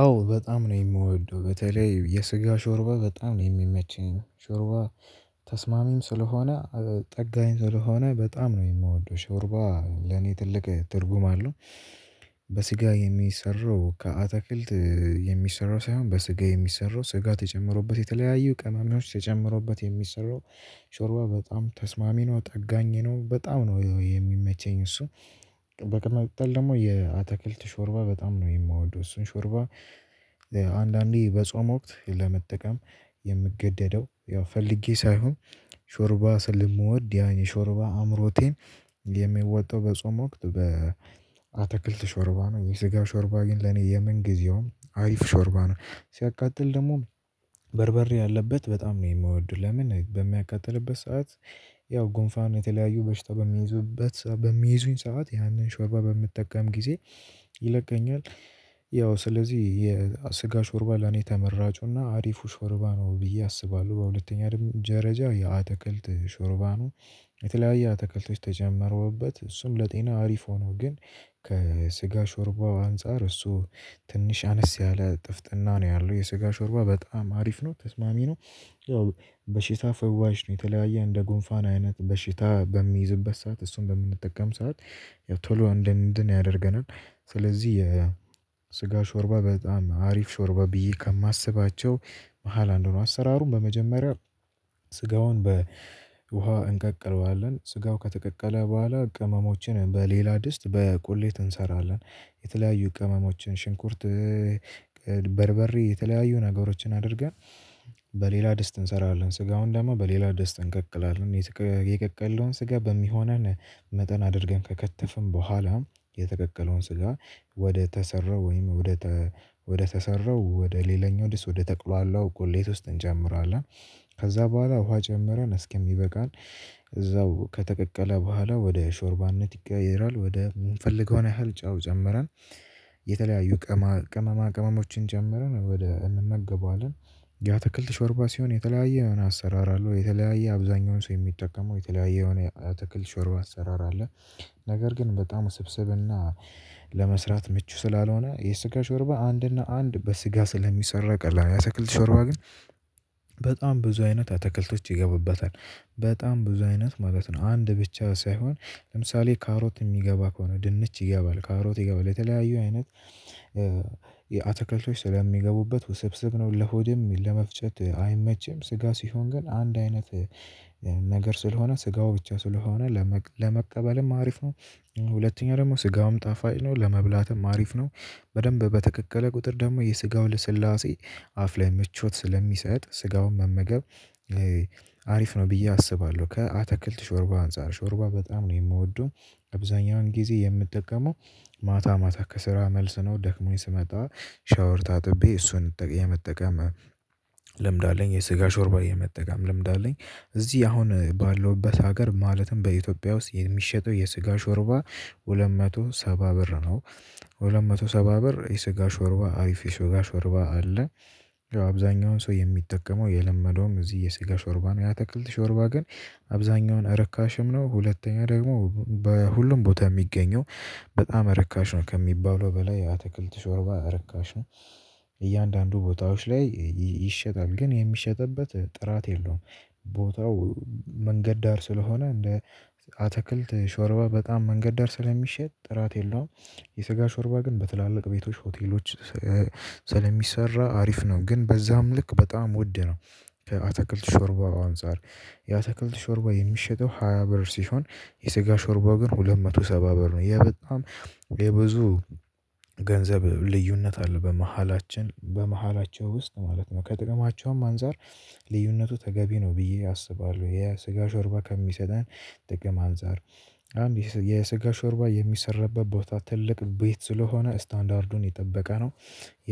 አዎ በጣም ነው የምወደው በተለይ የስጋ ሾርባ በጣም ነው የሚመችኝ ሾርባ ተስማሚም ስለሆነ ጠጋኝ ስለሆነ በጣም ነው የምወደው ሾርባ ለኔ ትልቅ ትርጉም አለው። በስጋ የሚሰራው ከአትክልት የሚሰራው ሳይሆን በስጋ የሚሰራው ስጋት የጨመረበት የተለያዩ ቅመሞች ተጨምሮበት የሚሰሩ ሾርባ በጣም ተስማሚ ነው ጠጋኝ ነው በጣም ነው የሚመቸኝ እሱ። በመቀጠል ደግሞ የአተክልት ሾርባ በጣም ነው የሚወደው እሱን ሾርባ። አንዳንዴ በጾም ወቅት ለመጠቀም የምገደደው ያው ፈልጌ ሳይሆን ሾርባ ስለምወድ ያን የሾርባ አምሮቴን የሚወጣው በጾም ወቅት በአትክልት ሾርባ ነው የስጋ ሾርባ ግን ለኔ የምንጊዜውም አሪፍ ሾርባ ነው። ሲያቃጥል ደግሞ በርበሬ ያለበት በጣም ነው የምወደው ለምን በሚያቃጥልበት ሰዓት? ያው ጉንፋን የተለያዩ በሽታ በሚይዙበት በሚይዙኝ ሰዓት ያንን ሾርባ በምጠቀም ጊዜ ይለቀኛል። ያው ስለዚህ የስጋ ሾርባ ለኔ ተመራጩና አሪፉ ሾርባ ነው ብዬ አስባለሁ በሁለተኛ ደረጃ የአተክልት ሾርባ ነው። የተለያየ አተክልቶች ተጨምረውበት እሱም ለጤና አሪፍ ሆኖ ግን ከስጋ ሾርባው አንፃር እሱ ትንሽ አነስ ያለ ጥፍጥና ነው ያለው የስጋ ሾርባ በጣም አሪፍ ነው ተስማሚ ነው። በሽታ ፈዋሽ ነው የተለያየ እንደ ጎንፋን አይነት በሽታ በሚይዝበት ሰዓት እሱን በምንጠቀም ሰዓት የቶሎ እንድን ያደርገናል። ስለዚህ የስጋ ሾርባ በጣም አሪፍ ሾርባ ብዬ ከማስባቸው መሃል አንዱ ነው። አሰራሩን በመጀመሪያ ስጋውን በውሃ እንቀቅለዋለን ስጋው ከተቀቀለ በኋላ ቅመሞችን በሌላ ድስት በቁሌት እንሰራለን። የተለያዩ ቅመሞችን ሽንኩርት በርበሬ የተለያዩ ነገሮችን አድርገን በሌላ ደስ እንሰራለን ስጋውን ደግሞ በሌላ ደስ እንቀቅላለን። የቀቀልነውን ስጋ በሚሆነን መጠን አድርገን ከከተፍን በኋላ የተቀቀለውን ስጋ ወደ ተሰራ ወይም ወደ ወደ ተሰራው ወደ ሌላኛው ድስት ወደ ተቁላላው ቁሌት ውስጥ እንጨምራለን። ከዛ በኋላ ውሃ ጨምረን እስኪምበቃን እዛው ከተቀቀለ በኋላ ወደ ሾርባነት ይቀየራል ወደ የምንፈልገውን ያህል ጨው ጨምረን። የተለያዩ ቅመማ ቅመማ ቅመሞችን ጨምረን ወደ እንመገበዋለን። ያተክልት ሾርባ ሲሆን የተለያየ የሆነ አሰራር አለው የተለያየ አብዛኛውን ሰው የሚጠቀመው የተለያየ የሆነ ያተክልት ሾርባ አሰራር አለ። ነገር ግን በጣም ውስብስብና ለመስራት ምቹ ስላልሆነ የስጋ ሾርባ አንድና አንድ በስጋ ስለሚሰራ ቀላል ነው። የአተክልት ሾርባ ግን በጣም ብዙ አይነት አተክልቶች ይገቡበታል። በጣም ብዙ አይነት ማለት ነው አንድ ብቻ ሳይሆን ለምሳሌ ካሮት የሚገባ ከሆነ ድንች ይገባል ካሮት ይገባል የተለያዩ አይነት አትክልቶች ስለሚገቡበት ውስብስብ ነው። ለሆድም ለመፍጨት አይመችም። ስጋ ሲሆን ግን አንድ አይነት ነገር ስለሆነ ስጋው ብቻ ስለሆነ ለመቀበልም አሪፍ ነው። ሁለተኛ ደግሞ ስጋውም ጣፋጭ ነው ለመብላትም አሪፍ ነው። በደንብ በተቀቀለ ቁጥር ደግሞ የስጋው ለስላሴ አፍ ላይ ምቾት ስለሚሰጥ ስጋውን መመገብ አሪፍ ነው ብዬ አስባለሁ። ከአትክልት ሾርባ አንፃር ሾርባ በጣም ነው የምወደው። አብዛኛውን ጊዜ የምጠቀመው ማታ ማታ ከስራ መልስ ነው ደክሞኝ ስመጣ ሻወር ታጥቤ እሱን የመጠቀም ልምድ አለኝ። የስጋ ሾርባ የመጠገም ልምዳለኝ። እዚህ አሁን ባለውበት ሀገር ማለትም በኢትዮጵያ ውስጥ የሚሸጠው የስጋ ሾርባ ሁለት መቶ ሰባ ብር ነው። ሁለት መቶ ሰባ ብር የስጋ ሾርባ አሪፍ ሾጋ ሾርባ አለ። አብዛኛውን ሰው የሚጠቀመው የለመደውም እዚህ የሴጋ ሾርባ ነው ያ ትክልት ሾርባ ግን። አብዛኛውን ረካሽም ነው ሁለተኛ ደግሞ በሁሉም ቦታ የሚገኘው በጣም ረካሽ ነው ከሚባለው በላይ ያተክልት ሾርባ ርካሽ ነው። እያንዳንዱ ቦታዎች ላይ ይሸጣል ግን የሚሸጥበት ጥራት የለውም። ቦታው መንገድ ዳር ስለሆነ እንደ አትክልት ሾርባ በጣም መንገድ ዳር ስለሚሸጥ ጥራት የለውም። የስጋ ሾርባ ግን በትላልቅ ቤቶች ሆቴሎች ስለሚሰራ አሪፍ ነው ግን በዛም ልክ በጣም ውድ ነው። አትክልት ሾርባ አንፃር ያ ሾርባ የሚሸጠው ሃያ ብር ሲሆን የስጋ ሾርባ ግን ሁለት መቶ ሰባ ብር ነው። ይሄ በጣም የብዙ ገንዘብ ልዩነት አለ በመሃላችን በመሃላቸው ውስጥ ማለት ነው። ከጥቅማችንም አንፃር ልዩነቱ ተገቢ ነው ብዬ አስባለሁ። የስጋ ሾርባ ከሚሰጠን ጥቅም አንፃር አንድ የስጋ ሾርባ የሚሰራበት ቦታ ትልቅ ቤት ስለሆነ ስታንዳርዱን የጠበቀ ነው።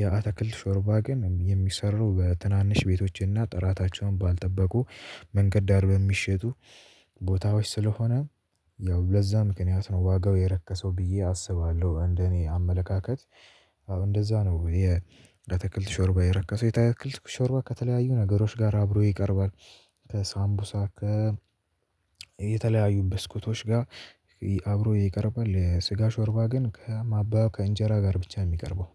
የአትክልት ሾርባ ግን የሚሰራው በትናንሽ ቤቶችና ጥራታቸውን ባልጠበቁ መንገድ ዳር በሚሸጡ ቦታዎች ስለሆነ። ያው ለዛ ምክንያት ነው ዋጋው የረከሰው ብዬ አስባለሁ። እንደኔ አመለካከት አዎ እንደዛ ነው። የአትክልት ሾርባ የረከሰው የአትክልት ሾርባ ከተለያዩ ነገሮች ጋር አብሮ ይቀርባል። ከሳምቡሳ ከ የተለያዩ ብስኩቶች ጋር አብሮ ይቀርባል። ስጋ ሾርባ ግን ከማባያው ከእንጀራ ጋር ብቻ ነው የሚቀርበው